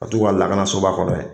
Ka t'u ka laganasoba kɔnɔ ye.